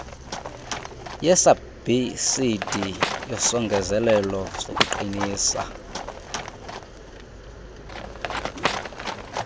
yesabhsidi yesongezelelo sokuqinisa